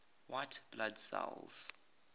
white blood cells